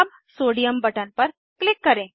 अब sodium button पर click करें